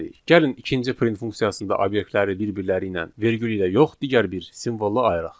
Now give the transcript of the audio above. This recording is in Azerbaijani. Gəlin ikinci print funksiyasında obyektləri bir-birləri ilə vergül ilə yox, digər bir simvolla ayıraq.